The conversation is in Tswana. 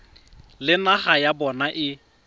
le naga ya bona e